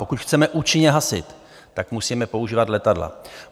Pokud chceme účinně hasit, tak musíme používat letadla.